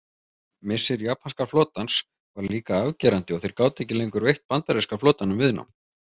Missir japanska flotans var líka afgerandi og þeir gátu ekki lengur veitt bandaríska flotanum viðnám.